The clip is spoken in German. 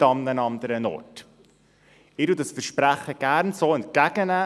Ich nehme dieses Versprechen gerne so entgegen.